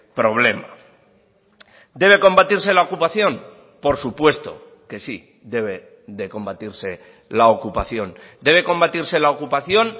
problema debe combatirse la ocupación por supuesto que sí debe de combatirse la ocupación debe combatirse la ocupación